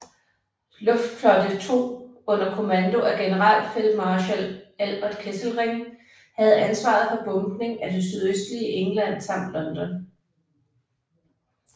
Luftflotte 2 under kommando af Generalfeldmarschall Albert Kesselring havde ansvaret for bombning af det sydøstlige England samt London